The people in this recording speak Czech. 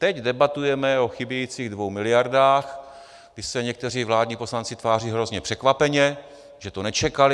Teď debatujeme o chybějících 2 miliardách, kdy se někteří vládní poslanci tváří hrozně překvapeně, že to nečekali.